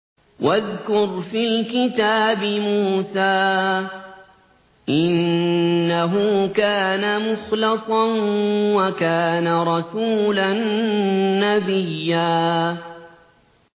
وَاذْكُرْ فِي الْكِتَابِ مُوسَىٰ ۚ إِنَّهُ كَانَ مُخْلَصًا وَكَانَ رَسُولًا نَّبِيًّا